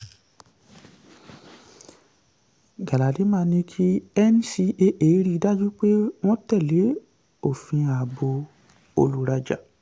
galadima ní kí ncaa rí dájú pé wọ́n tẹ̀lé òfin ààbò olùrajà